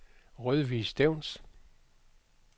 Rødvig Stevns